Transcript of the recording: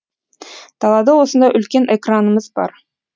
далада осындай үлкен экранымыз бар